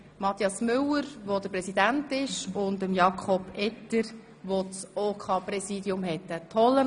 Mathias Müller amtete als Vereinspräsident, während Jakob Etter das Präsidium des OKs innehatte.